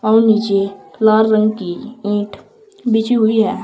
और नीचे लाल रंग की ईट बिछी हुई है।